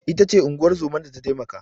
Ita ce unguwar zoman da ta taimaka.